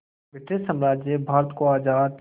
British साम्राज्य भारत को आज़ाद